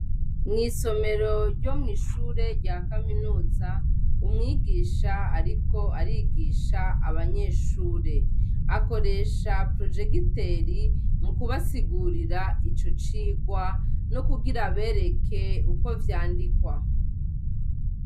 Mw'isomero ryo mw'ishure rya Kaminuza umwigisha ariko arigisha abanyeshure akoresha projegitere mukubasigurira ico cigwa no kugira abereke uko vyandikwa .